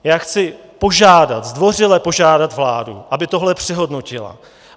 Já chci požádat, zdvořile požádat vládu, aby tohle přehodnotila.